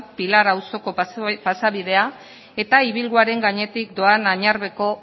pilar auzoko pasabidea eta ibilguaren gainetik doan añarbeko